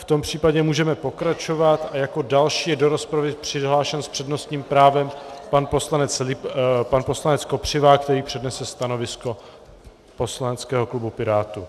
V tom případě můžeme pokračovat a jako další je do rozpravy přihlášen s přednostním právem pan poslanec Kopřiva, který přednese stanovisko poslaneckého klubu Pirátů.